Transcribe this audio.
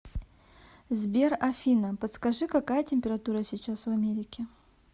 сбер афина подскажи какая температура сейчас в америке